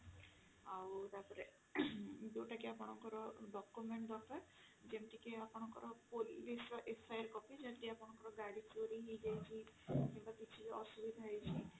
ଆଉ ତାପରେ ଯୋଉଟାକି ଆପଣଙ୍କର document ଦରକାର ଯେମିତି କି ଆପଣଙ୍କର police ର FIR copy ଯେମିତି ଆପଣଙ୍କର ଗାଡି ଚୋରି ହେଇଯାଇଛି କିମ୍ବା କିଛି ଅସୁବିଧା ହେଇଛି